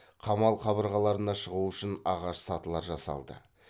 қамал қабырғаларына шығу үшін ағаш сатылар жасалды